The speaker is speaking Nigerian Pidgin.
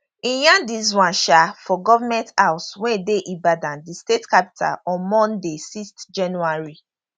e yarn dis one um for goment house wey dey ibadan di state capital on monday 6 january